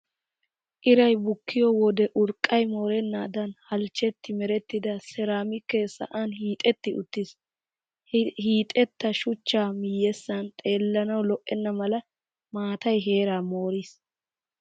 Iray bukkiyo wode urqqay moorennaadan halchchetti merettida seeraamikee sa"an hiixetti uttiis. Hiixetta shuchchaa miyyessan xeelawu lo"enna mela maatay heeraa mooriis.